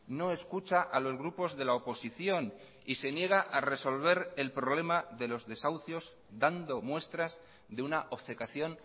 no escucha a los grupos de la oposición y se niega a resolver el problema de los desahucios dando muestras de una obcecación